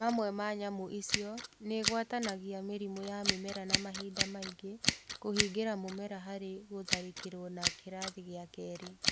Mamwe ma nyamũ icio nĩgwatanagia mĩrimũ ya mĩmera na mahinda maingĩ kũhingĩra mũmera harĩ gũtharĩkĩrwo na kĩrathi gĩa Keri